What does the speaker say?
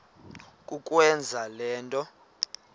kukwenza le nto